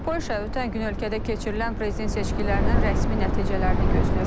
Polşa ötən gün ölkədə keçirilən prezident seçkilərinin rəsmi nəticələrini gözləyir.